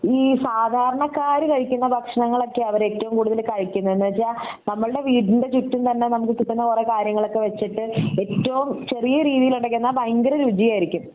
ഈ സാധാരണക്കാര് കഴിക്കുന്ന ഭക്ഷണങ്ങൾ ഒക്കെ അവർ ഏറ്റവും കൂടുതൽ കഴിക്കുന്നേ എന്ന് വെച്ചാ നമ്മളുടെ വീടിൻ്റെ ചുറ്റും തന്നെ നമുക്ക് കിട്ടുന്ന കൊറേ കാര്യങ്ങൾ ഒക്കെ വെച്ചിട്ട് ഏറ്റവും ചെറിയ രീതിയിൽ ഉണ്ടാകുന്ന എന്ന ഭയങ്കര രുചിയായിരിക്കും